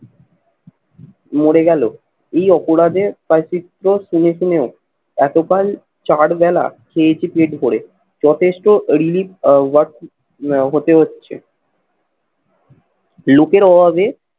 মরে গেলো এই অপরাধে হয় চিত্র শুনে শুনেও এতকাল চার বেলা খেয়েছি পেট ভরে। যথেষ্ট relief আহ work হতে হচ্ছে। লোকের অভাবে